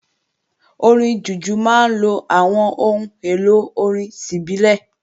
Orin Jùjú máa ń lo àwọn ohun èlò orin ti ìbílẹ̀